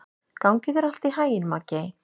Gangi þér allt í haginn, Maggey.